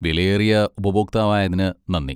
വിലയേറിയ ഉപഭോക്താവായതിന് നന്ദി.